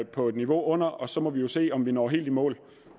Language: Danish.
på et niveau under og så må vi se om vi når helt i mål